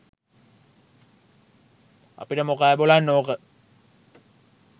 අපිට මොකෑ බොලන් ඕක